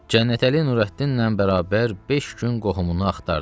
Cənnətəli Nurəddinlə bərabər beş gün qohumunu axtardı.